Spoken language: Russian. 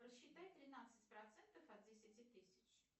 рассчитай тринадцать процентов от десяти тысяч